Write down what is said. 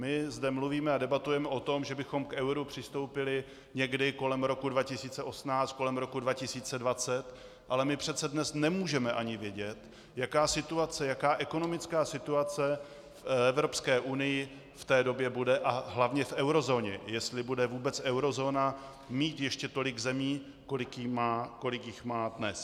My zde mluvíme a debatujeme o tom, že bychom k euru přistoupili někdy kolem roku 2018, kolem roku 2020, ale my přece dnes nemůžeme ani vědět, jaká situace, jaká ekonomická situace v Evropské unii v té době bude, a hlavně v eurozóně, jestli bude vůbec eurozóna mít ještě tolik zemí, kolik jich má dnes.